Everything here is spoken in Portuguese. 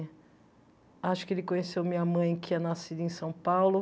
Acho que ele conheceu minha mãe, que é nascida em São Paulo.